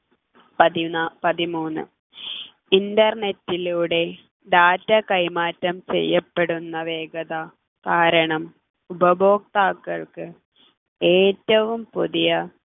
പതിനാ പതിമൂന്ന് internet ലൂടെ data കൈമാറ്റം ചെയ്യപ്പെടുന്ന വേഗത കാരണം ഉപഭോക്താക്കൾക്ക് ഏറ്റവും പുതിയ